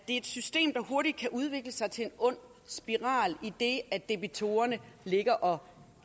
er et system der hurtigt kan udvikle sig til en ond spiral idet debitorerne ligger og